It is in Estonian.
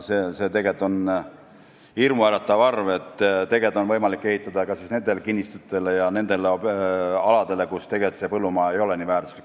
See on hirmuäratav suurusjärk, sest tegelikult on võimalik ehitada ka nendele kinnistutele ja aladele, kus põllumaa ei ole nii väärtuslik.